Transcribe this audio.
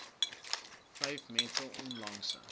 vyf mees onlangse